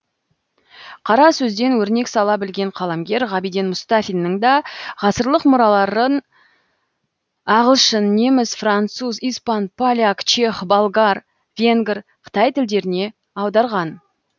қара сөзден өрнек сала білген қаламгер ғабиден мұстафинның да ғасырлық мұраларын ағылшын неміс француз испан поляк чех болгар венгр қытай тілдеріне аударған